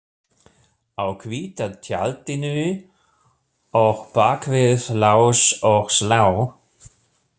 Á hvíta tjaldinu og bak við lás og slá